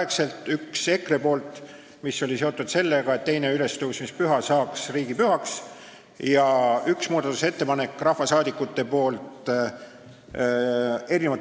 Üks oli EKRE ettepanek, mis on seotud sellega, et teine ülestõusmispüha saaks riigipühaks, teine oli mitmelt